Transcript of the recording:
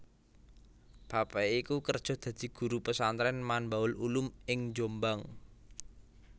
Bapake iku kerja dadi Guru Pesantren Manbaul Ulum ing Jombang